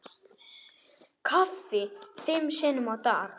Kaffi fimm sinnum á dag.